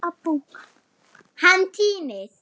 Hann týnist.